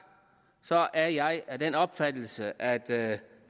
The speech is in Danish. er jeg af den opfattelse at der